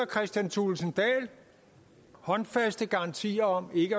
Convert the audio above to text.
kristian thulesen dahl håndfaste garantier om ikke